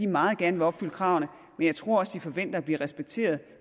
meget gerne vil opfylde kravene men jeg tror også at de forventer at blive respekteret